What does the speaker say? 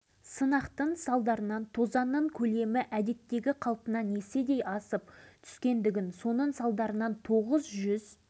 ысқақов жолдастар министрлер кеңесінің төрағасы атына хат жолдап мұндағы мамыр баянауыл аудандарындағы семейдегі